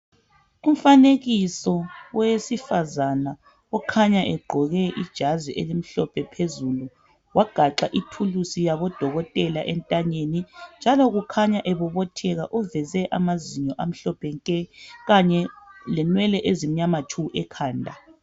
Umfanekiso wowesifazana okhanya egqoke ijazi elimhlophe phezulu, wagaxa ithulusi yabodokotela entanyeni, njalo kukhanya ebobothela uveze amazinyo amhlophe nke, kanye lenwele ezimnywama tshu ekhanda.